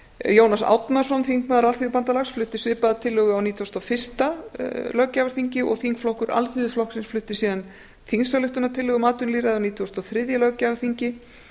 jónas árnason þingmaður alþýðubandalags flutti svipaða tillögu á nítugasta og fyrsta löggjafarþingi og þingflokkur alþýðuflokksins flutti síðan þingsályktunartillögu um atvinnulýðræði á nítugasta og þriðja löggjafarþingi